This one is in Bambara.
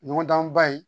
Ɲɔgɔndan ba ye